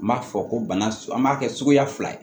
N b'a fɔ ko bana an b'a kɛ suguya fila ye